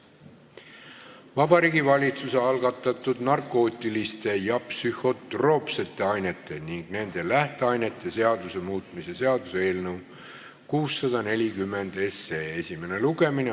Vabariigi Valitsuse algatatud narkootiliste ja psühhotroopsete ainete ning nende lähteainete seaduse muutmise seaduse eelnõu 640 esimene lugemine.